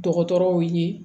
Dɔgɔtɔrɔw ye